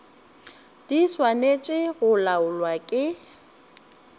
di swanetše go laolwa ke